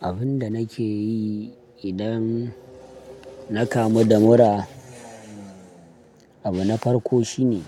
Abin da nake yi idan na kamu da mura, abu na farko shine